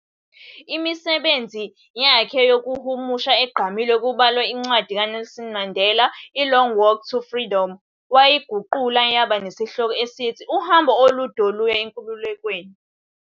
Imisebenzi yakhe yokuhumusha egqamile kubalwa incwadi kaNelson Mandela i-"Long Walk to Freedom", wayiguqula yaba nesihloko esithi "Uhambo Olunde Oluya eNkululekweni".